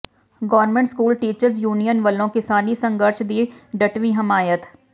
government school teachers union ਵੱਲੋਂ ਕਿਸਾਨੀ ਸੰਘਰਸ਼ ਦੀ ਡਟਵੀਂ ਹਮਾਇਤ